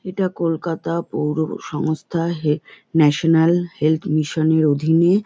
এটা কলকাতা পৌরসংস্থা head national health mission -এর অধিনে।